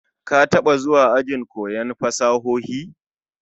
Ka taba zuwa ajin koyon fasahohi?